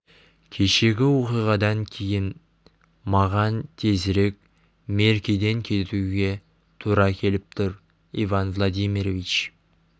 кешегі оқиғадан кейін маған тезірек меркеден кетуге тура келіп тұр иван владимирович